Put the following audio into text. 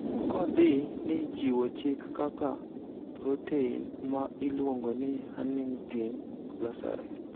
kodhi ni chiwo chik kaka prothein ma iluongo ni huntingtin losore